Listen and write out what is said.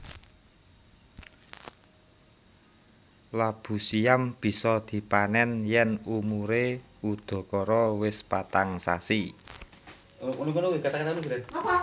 Labu siam bisa dipanèn yèn umuré udakara wis patang sasi